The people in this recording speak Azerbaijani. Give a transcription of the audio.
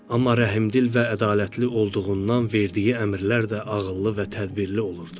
Amma rəhmdil və ədalətli olduğundan verdiyi əmrlər də ağıllı və tədbirli olurdu.